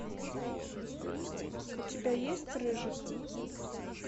у тебя есть рыжик